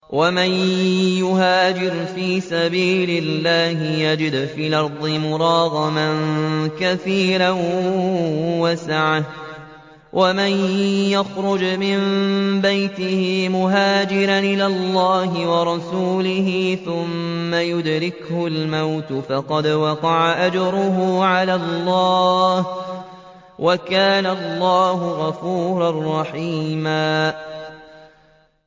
۞ وَمَن يُهَاجِرْ فِي سَبِيلِ اللَّهِ يَجِدْ فِي الْأَرْضِ مُرَاغَمًا كَثِيرًا وَسَعَةً ۚ وَمَن يَخْرُجْ مِن بَيْتِهِ مُهَاجِرًا إِلَى اللَّهِ وَرَسُولِهِ ثُمَّ يُدْرِكْهُ الْمَوْتُ فَقَدْ وَقَعَ أَجْرُهُ عَلَى اللَّهِ ۗ وَكَانَ اللَّهُ غَفُورًا رَّحِيمًا